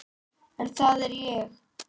En það er ég.